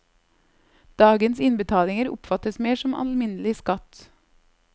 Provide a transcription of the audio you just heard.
Dagens innbetalinger oppfattes mer som alminnelig skatt.